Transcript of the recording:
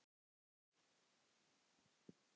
Að blanda þessu tvennu saman.